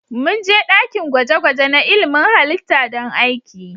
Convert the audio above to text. Mun je dakin gwaje-gwaje na ilmin halitta don aiki.